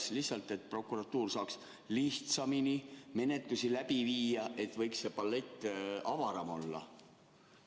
Kas sellepärast, et prokuratuur saaks lihtsamini menetlusi läbi viia, see palett võiks avaram olla?